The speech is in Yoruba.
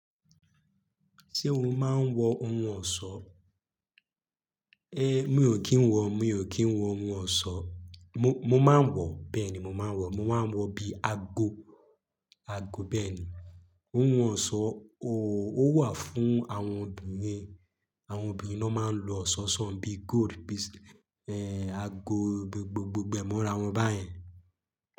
Ṣé o máa ń wọ ohun ọ̀ṣọ́? É mi ò kí ń wọ, mi ò kí ń wọ ohun ọ̀ṣọ́. Mo, mo máa ń wọ, bẹ́ẹ̀ ni mo máa ń wọ. Mo máa ń wọ bí i ago, ago bẹ́ẹ̀ ni. Ohun ọ̀sọ́, oòó wà fún àwọn obìnrin. Àwọn obìnrin ló máa ń lo ọ̀sọ̀sọ̀n bí gold piece, ẹ́ẹ́ ago gbogbo gbemọ ra wọn báyẹn.